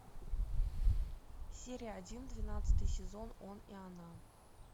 серия один двенадцатый сезон он и она